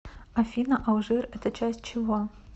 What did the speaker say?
афина алжир это часть чего